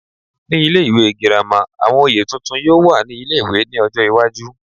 Ní ilé ìwé girama, àwọn oyè tuntun yóò wà ní ilé-ìwé ní ọjọ́ iwájú